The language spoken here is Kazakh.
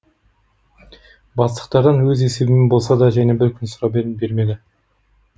бастықтардан өз есебімнен болса да және бір күн сұрап едім бермеді